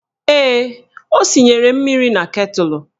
Ee, o sinyere mmiri na ketụlụ